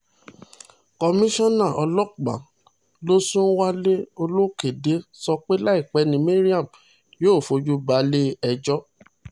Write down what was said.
komisanna ọlọ́pàá losùn wálé olókódé sọ pé láìpẹ́ ni mariam yóò fojú balẹ̀-ẹjọ́